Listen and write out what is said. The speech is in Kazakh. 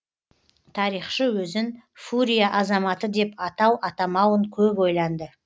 тарихшы өзін фурия азаматы деп атау атамауын көп ойланды